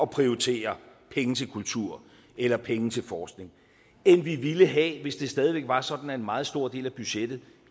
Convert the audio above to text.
prioritere penge til kultur eller penge til forskning end vi ville have hvis det stadig væk var sådan at en meget stor del af budgettet